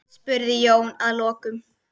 spurði Jón að lokum.